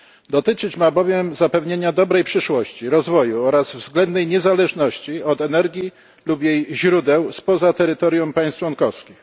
Dotyczyć ma ona bowiem zapewnienia dobrej przyszłości, rozwoju oraz względnej niezależności od energii lub jej źródeł spoza terytorium państw członkowskich.